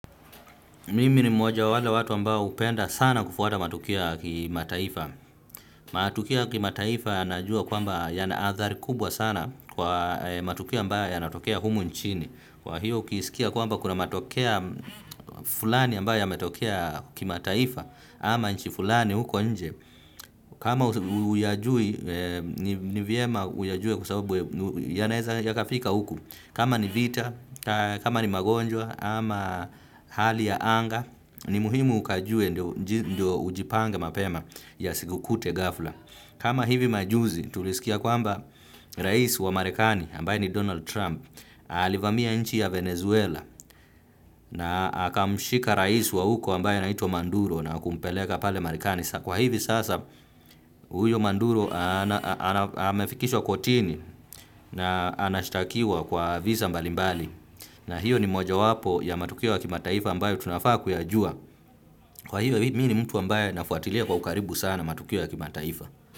Mimi ni mmoja wa wale watu ambao hupenda sana kufuata matokeo ya kimataifa. Matukio ya kimataifa najua kwamba yana athari kubwa sana kwa matukio ambayo yanatokea humu nchini. Kwa hiyo ukisikia kwamba kuna matokea fulani ambayo yametokea kimataifa ama nchi fulani huko nje. Kama huyajui, ni vyema uyajue kwa sababu yanaeza yakafika huku. Kama ni vita, kama ni magonjwa, ama hali ya anga, ni muhimu ukajue ndio ujipange mapema yasikukute ghafla. Kama hivi majuzi tulisikia kwamba rais wa marekani ambaye ni Donald Trump, alivamia nchi ya Venezuela na akamshika rais wa huko ambaye anaitwa Manduro na kumpeleka pale Marekani. Kwa hivi sasa huyo Manduro amefikishwa kotini na anashtakiwa kwa visa mbalimbali. Na hiyo ni mojawapo ya matukio ya kimataifa ambayo tunafaa kuyajua. Kwa hiyo mi ni mtu ambaye nafuatilia kwa ukaribu sana matukio ya kimataifa.